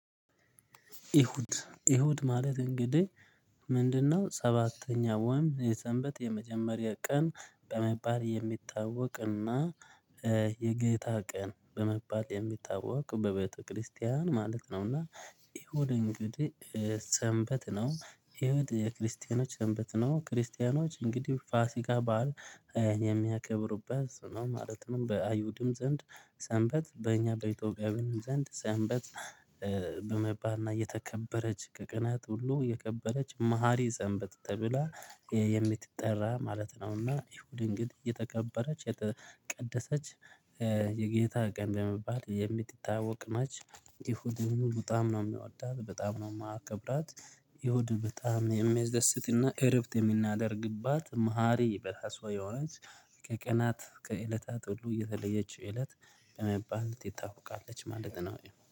እሁድ እሁድ ማለት እንግዲህ ምንድነው? ሰባተኛ ወይም የሰንበት የመጀመሪያ ቀን በመባል የሚታወቅና የጌታ ቀን በመባል የሚታወቅ በቤተክርስቲያን ማለት ነው። እና እሁድ እንግዲህ ሰንበት ነው እሁድ የክርስቲያኖች ሰንበት ነው። ክርስቲያኖች እንግዲህ ፋሲጋ በዓል የሚያከብሩበት ነው ማለት ነው። በአይሁድም ዘንድ ሰንበት በእኛ በኢትዮጵያውያንም ዘንድ ሰንበት በመባልና የተከበረች ከቀናት ሁሉ የከበረች መሃሪ ሰንበት ተብላ የምትጠራ ማለት ነውና። እሁድን ግን የተከበረች የተቀደሰች የጌታ ቀን በመባል የምትታወቅ ነች። እሁድን በጣም ነው የምወዳት በጣም ነው የማከብራት። እሁድ በጣም የሚያስደስትና እረፍት የምናደርግባት መሃሪ በራስዋ የሆነች። ከቀናት ከእለታት ሁሉ የተለየች እለት በመባል ትታወቃለች ማለት ነው